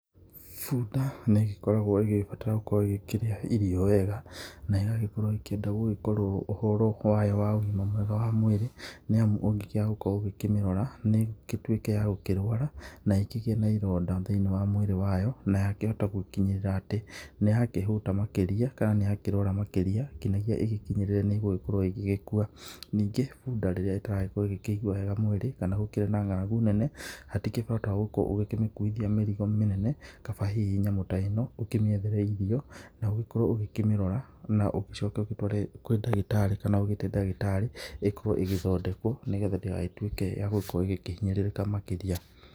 Bunda nĩ ĩgĩbataraga gũkorwo ĩgĩkĩrĩa irio wega. Nayo ĩgĩkorwo ĩkĩenda gũgĩkorwo ũhoro wayo wa ũgima mwega wa mwĩri nĩamu ũngĩkĩaga gũkorwo ũgĩkĩmĩrora no ĩgĩtuĩke nĩ ya gũkĩrwara na ĩkĩgĩe na ironda thĩinĩ wa mwĩrĩ wayo na yakĩhota gũkinyĩra atĩ nĩyakĩhũta makĩria kana nĩyakĩrwara makĩria kinyagia ĩgĩkinyĩrĩre nĩ ĩgũkorwo ĩgĩgĩkua. Ningĩ bunda rĩrĩa ĩtaragĩkorwo ĩkĩigua wega mwĩrĩ kana gũkĩrĩ na ngaragu nene hatikĩrĩ bata wa gũkorwo ũgĩkĩmĩkuithia mĩrigo mĩnene, kaba hihi nyamũ ta ĩno ũkĩmĩethere irio, na ũgĩkorwo ũkĩmĩrora, na ũgĩcoke ũtware kwĩ ndagĩtarĩ, kana ũgĩĩte ndagĩtarĩ ĩkorwo ĩgĩthondekwo nĩgetha ndĩgagĩtuĩke ya gũkorwo ĩkĩhinyĩrĩrĩka makĩria.